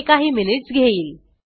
हे काही मिनिट्स घेईल